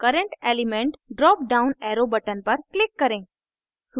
current element dropdown arrow button पर click करें